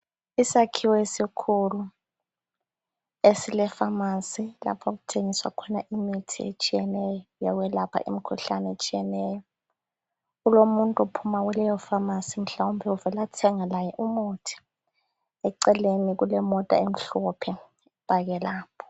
Isakhiwo esikhulu esile pharmacy lapho okuthengiswa imithi etshiyeneyo. Yokwelapha imikhuhlane etshiyeneyo. Kulomuntu ophuma kuleyo pharmacy, mhlawumbe uvela thenga laye umuthi. Eceleni kulemota emhlophe epake lapho.